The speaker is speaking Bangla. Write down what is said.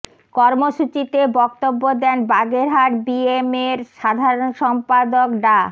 কর্মসূচিতে বক্তব্য দেন বাগেরহাট বিএমএ এর সাধারণ সম্পাদক ডা